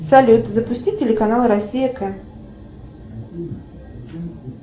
салют запусти телеканал россия к